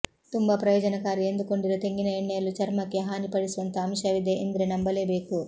ತುಂಬಾ ಪ್ರಯೋಜನಕಾರಿ ಎಂದುಕೊಂಡಿರುವ ತೆಂಗಿನ ಎಣ್ಣೆಯಲ್ಲೂ ಚರ್ಮಕ್ಕೆ ಹಾನಿಪಡಿಸುವಂತಹ ಅಂಶವಿದೆ ಎಂದ್ರೆ ನಂಬಲೇಬೇಕು